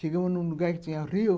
Chegamos num lugar que tinha rio.